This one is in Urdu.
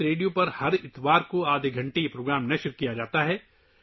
یہ ہر اتوار کو آدھے گھنٹے کے لیے ‘کویت ریڈیو’ پر نشر ہوتا ہے